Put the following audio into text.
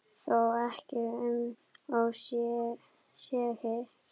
Þó ekki um of segir